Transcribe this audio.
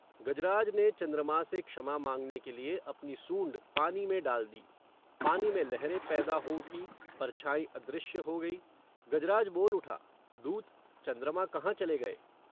गजराज ने चंद्रमा से क्षमा मांगने के लिए अपनी सूंड़ पानी में डाल दी. पानी में लहरें पैदा हो उठीं, परछाईं अदृश्य हो गई. गजराज बोल उठा, दूत, चंद्रमा कहां चले गए?